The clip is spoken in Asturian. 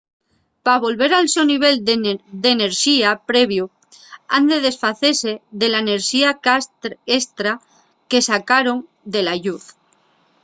pa volver al so nivel d’enerxía previu han de desfacese de la enerxía estra que sacaron de la lluz